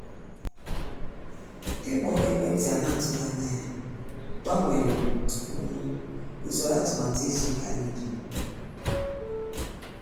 ikpo ekwentị a na-atụghị anya ya gbanwere um usoro atụmatụ izu ụka anyị dum.